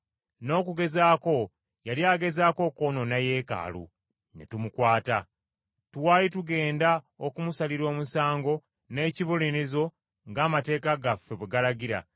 N’okugezaako yali agezaako okwonoona Yeekaalu, ne tumukwata. Twali tugenda okumusalira omusango n’ekibonerezo ng’amateeka gaffe bwe galagira,